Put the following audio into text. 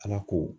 Ala ko